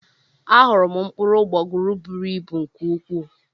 Ahụrụ m mkpụrụ ụgbọguru bụrụ ịbụ nke ukwuu.